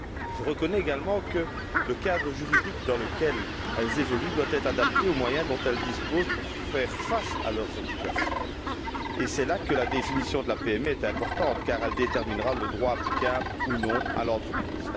Je reconnais également que le cadre juridique dans lequel elles évoluent doit être adapté aux moyens dont elles disposent pour faire face à leurs obligations, et c'est là que la définition de la PME est importante, car elle déterminera le droit applicable ou non à l'entreprise.